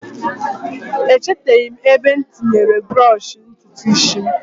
Echeteghi' m ebe m tinyere brọsh ntutu isi m